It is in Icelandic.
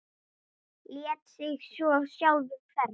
Lét sig svo sjálfur hverfa.